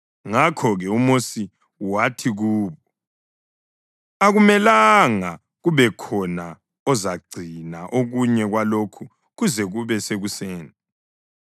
Ngakho-ke uMosi wathi kubo, “Akumelanga kubekhona ozagcina okunye kwalokho kuze kube sekuseni.”